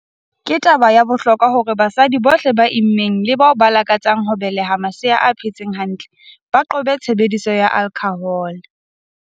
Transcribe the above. "Ke taba ya bohlokwa ya hore basadi bohle ba immeng le bao ba lakatsang ho beleha masea a phetseng hantle ba qobe tshebediso ya alkhohole."